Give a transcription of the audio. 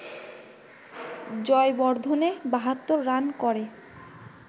Jayawardene ৭২ run করে